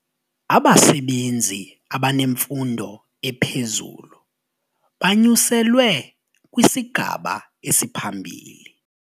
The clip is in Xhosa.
Abasebenzi abanemfundo ephezulu banyuselwe kwisigaba esiphambili.